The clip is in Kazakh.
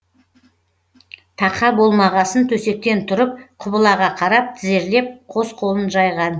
тақа болмағасын төсектен тұрып құбылаға қарап тізерлеп қос қолын жайған